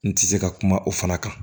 N tɛ se ka kuma o fana kan